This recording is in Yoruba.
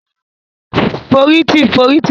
Fóriti fóriti lómu ki óri àgba pá